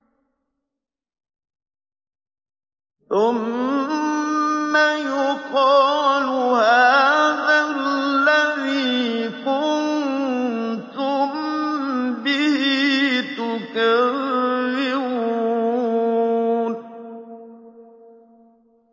ثُمَّ يُقَالُ هَٰذَا الَّذِي كُنتُم بِهِ تُكَذِّبُونَ